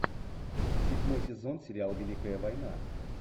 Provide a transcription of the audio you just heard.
седьмой сезон сериал великая война